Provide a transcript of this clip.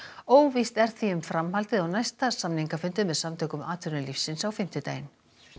óvíst er því um framhaldið á næsta samningafundi með Samtökum atvinnulífsins á fimmtudaginn